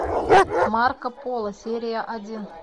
марко поло серия один